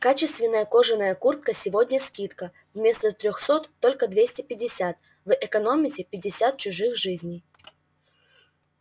качественная кожаная куртка сегодня скидка вместо трёхсот только двести пятьдесят вы экономите пятьдесят чужих жизней